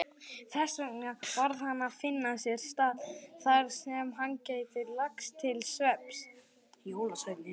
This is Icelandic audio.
Þessvegna varð hann að finna sér stað þarsem hann gæti lagst til svefns.